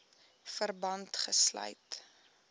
verband gesluit